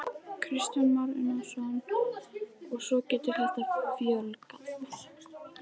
Kristján Már Unnarsson: Og svo getur þetta fjölgað?